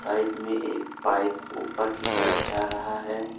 Side में एक pipe ऊपर की तरफ जा रहा है।